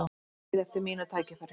Bíð eftir mínu tækifæri